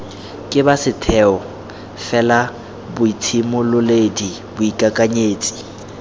ke ba setheo felaboitshimololedi boikakanyetsi